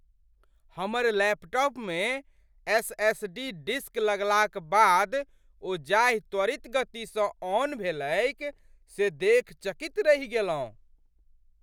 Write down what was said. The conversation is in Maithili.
हमर लैपटॉपमे एस.एस.डी. डिस्क लगलाक बाद ओ जाहि त्वरित गतिसँ ऑन भेलैक से देखि चकित रहि गेलहुँ।